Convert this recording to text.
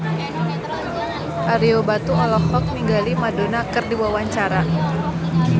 Ario Batu olohok ningali Madonna keur diwawancara